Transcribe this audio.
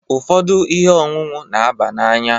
Ụfọdụ ihe ọṅụṅụ n'aba n'anya.